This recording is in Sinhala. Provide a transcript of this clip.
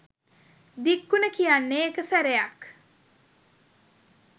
දික් උන කියන්නේ එක සැරයක්.